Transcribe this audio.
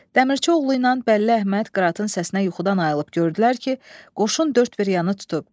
Dəmirçioğlu ilə Bəlli Əhməd Qıratın səsinə yuxudan ayılıb gördülər ki, qoşun dörd bir yanı tutub.